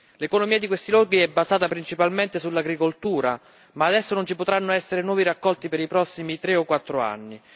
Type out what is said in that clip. L'economia di questi luoghi è basata principalmente sull'agricoltura, ma adesso non ci potranno essere nuovi raccolti per i prossimi tre o quattro anni.